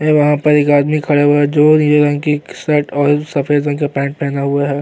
और वहां पर एक आदमी खड़ा हुआ है जो नीले रंग की शर्ट और सफेद रंग का पेंट पहना हुआ है।